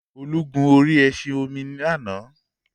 Olu gun orí ẹṣin-omi lánàá.